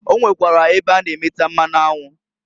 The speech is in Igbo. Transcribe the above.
O nwekwara ebe a na- emeta mmanụ anwụ.